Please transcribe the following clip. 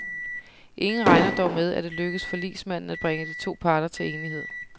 Ingen regner dog med, at det lykkes forligsmanden at bringe de to parter til enighed.